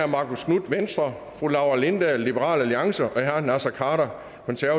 marcus knuth laura lindahl og naser khader